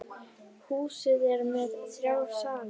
Húsið er með þrjá sali.